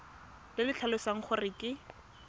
le le tlhalosang gore ke